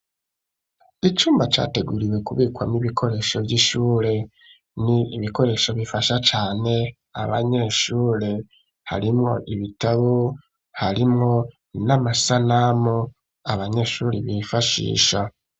Icumba, categuriwe kubikwamwo, ibikoresho vy'ishure, ni ibikoresho bifasha cane, abanyeshure; harimwo ibitabo, harimwo n'amasanamu, abanyeshuri bifashisha.